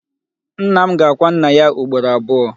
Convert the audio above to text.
Nna m ga-akwa nnà yá ugboro abụọ.